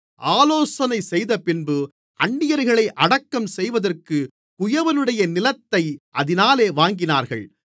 ஆலோசனை செய்தபின்பு அந்நியர்களை அடக்கம் செய்வதற்குக் குயவனுடைய நிலத்தை அதினாலே வாங்கினார்கள்